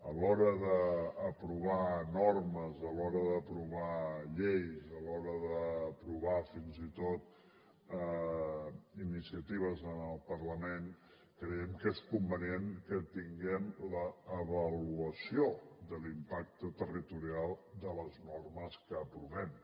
a l’hora d’aprovar normes a l’hora d’aprovar lleis a l’hora d’aprovar fins i tot iniciatives en el parlament creiem que és convenient que tinguem l’avaluació de l’impacte territorial de les normes que aprovem